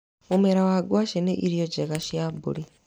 Mũmera wa ngwacĩ nĩ irio njega cia mbũri.